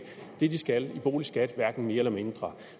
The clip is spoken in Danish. det de skal i boligskat hverken mere eller mindre